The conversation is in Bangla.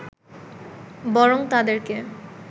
বরং তাদেরকে